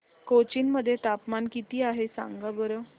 कोचीन मध्ये तापमान किती आहे सांगा बरं